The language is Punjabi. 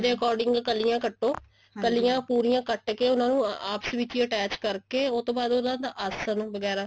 according ਕਲੀਆਂ ਕੱਟੋ ਕਲੀਆਂ ਪੂਰੀ ਕੱਟ ਕੇ ਉਹਨਾ ਨੂੰ ਆਪਸ ਵਿੱਚ ਹੀ attach ਕਰਕੇ ਉਹ ਤੋਂ ਬਾਅਦ ਉਹਦਾ ਆਸਨ ਵਗੈਰਾ